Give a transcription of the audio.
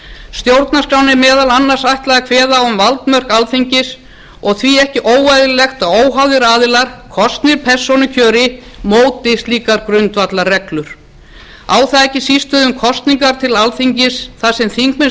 stjórnarskránni er meðal annars ætlað að kveða á um valdmörk alþingis og því ekki óeðlilegt að óháðir aðilar kosnir persónukjöri móti slíkar grundvallarreglur á það ekki síst við um kosningar til alþingi þar sem þingmenn